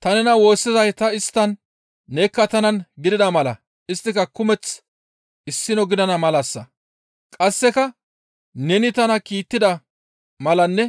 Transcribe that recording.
Ta nena woossizay ta isttan; nekka tanan gidida mala isttika kumeth issino gidana malassa. Qasseka neni tana kiittida malanne